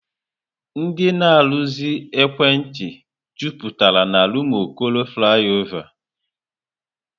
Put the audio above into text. Ndị na-arụzi ekwentị jupụtara n'Rụmụokoro Flaịọvá.